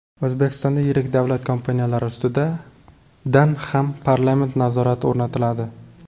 O‘zbekistonda yirik davlat kompaniyalari ustidan ham parlament nazorati o‘rnatiladi.